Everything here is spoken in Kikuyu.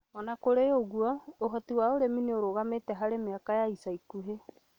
O na kũrĩ ũguo, ũhoti wa ũrĩmi nĩ ũrũgamĩte harĩ mĩaka ya ica ikuhĩ.